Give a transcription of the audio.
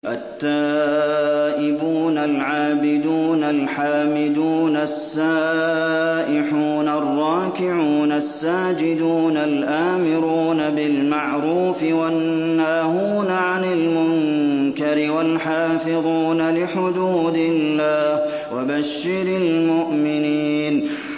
التَّائِبُونَ الْعَابِدُونَ الْحَامِدُونَ السَّائِحُونَ الرَّاكِعُونَ السَّاجِدُونَ الْآمِرُونَ بِالْمَعْرُوفِ وَالنَّاهُونَ عَنِ الْمُنكَرِ وَالْحَافِظُونَ لِحُدُودِ اللَّهِ ۗ وَبَشِّرِ الْمُؤْمِنِينَ